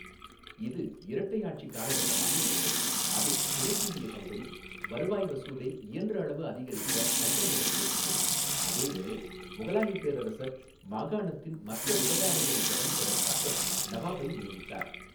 இது 'இரட்டை ஆட்சி' காலகட்டமாக இருந்தது, அதில் கிழக்கிந்திய கம்பெனி வருவாய் வசூலை இயன்றளவு அதிகரிக்க சட்டங்களை இயற்றியது, அதேவேளை முகலாயப் பேரரசர் மாகாணத்தின் மற்ற விவகாரங்களைக் கவனிப்பதற்காக நவாபை நியமித்தார்.